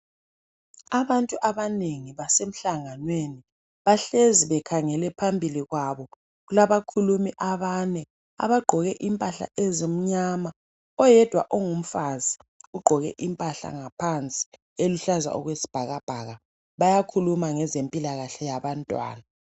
Abantu abanengi basemhlanganenwi bahlezi bekhange le ohambili kwabo kulezikhulumi ezibane ezigqoke imphahla ezimnyama oyedwa ongumfazi ugqoke imphahla ngaphansi eluhlaza, bayakhuluma nge mpilakahle yabantwana.